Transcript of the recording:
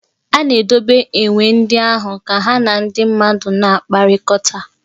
A na-edobe enwe ndị ahụ ka ha na ndị mmadụ na-akpakọrịta.